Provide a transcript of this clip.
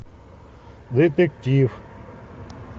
детектив